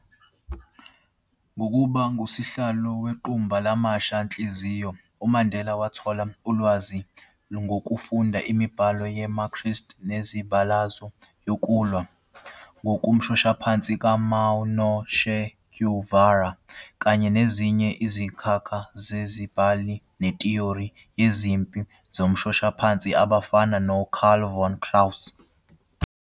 Ngokuba ngusihlalo wequmbu lamasha-nhliziyo, uMandela wathola ulwazi ngokufunda imibhalo ye-Marxist nemizabalazo yokulwa ngomshoshaphansi ka-Mao no-Che Guevara kanye nezinye izinkakha zababhali ngethiyori yezempi zemishoshaphansi abafana no- Carl von Clausewitz.